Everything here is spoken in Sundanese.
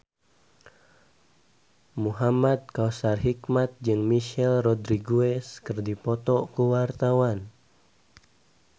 Muhamad Kautsar Hikmat jeung Michelle Rodriguez keur dipoto ku wartawan